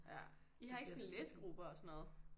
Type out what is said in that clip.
Ja I har ikke sådan læsegrupper og sådan noget?